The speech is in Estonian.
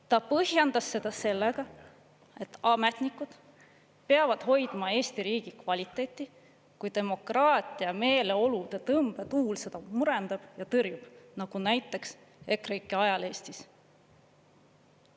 Ta põhjendas seda sellega et ametnikud peavad hoidma Eesti riigi kvaliteeti, kui demokraatia meeleolude tõmbetuul seda murendab ja tõrjub, nagu näiteks EKREIKE ajal Eestis.